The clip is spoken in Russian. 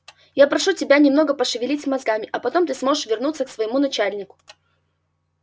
я прошу тебя немного пошевелить мозгами а потом ты сможешь вернуться к своему начальнику